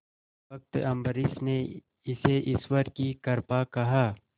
भक्त अम्बरीश ने इसे ईश्वर की कृपा कहा